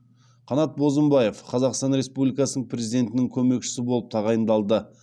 қанат бозымбаев қазақстан республикасының президентінің көмекшісі болып тағайындалды